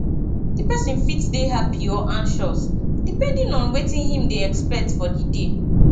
di person fit dey happy or anxious depending on wetin im dey expect for di day